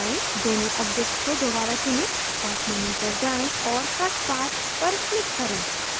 दोनों objects को दोबारा चुनें path menu पर जाएँ और cut path पर click करें